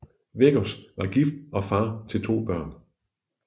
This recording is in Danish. Veggos var gift og far til to børn